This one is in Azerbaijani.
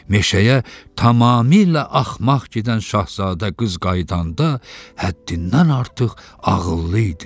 Meşəyə tamamilə axmaq gedən Şahzadə qız qayıdanda həddindən artıq ağıllı idi.